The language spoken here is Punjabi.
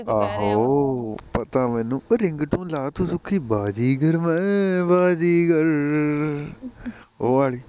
ਆਹੋ ਪਤਾ ਮੈਨੂੰ, ਉਹ ringtone ਲਾ ਤੂੰ ਸੁਖੀ, ਬਾਜ਼ੀਗਰ ਮੈਂ ਬਾਜ਼ੀਗਰ, ਉਹ ਵਾਲੀ